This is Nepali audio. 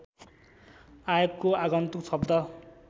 आएको आगन्तुक शब्द